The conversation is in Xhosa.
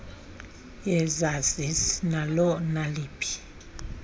yesazisi nalo naliphi